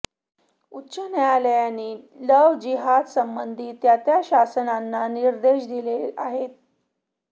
उच्च न्यायालयांनी लव्ह जिहादासंबंधी त्या त्या शासनंना निर्देश दिले आहेत